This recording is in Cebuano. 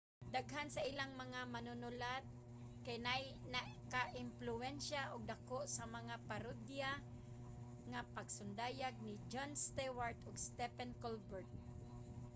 daghan sa ilang mga manunulat kay nakaempluwensiya og dako sa mga parodiya nga pasundayag ni jon stewart ug stephen colbert